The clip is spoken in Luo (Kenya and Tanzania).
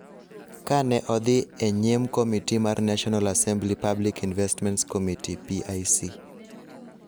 Ka ne odhi e nyim Komiti mar National Assembly Public Investments Committee (PIC),